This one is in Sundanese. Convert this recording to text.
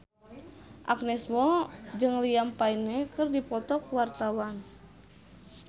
Agnes Mo jeung Liam Payne keur dipoto ku wartawan